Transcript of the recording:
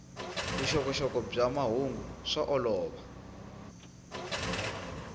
vuxokoxoko bya mahungu swa olova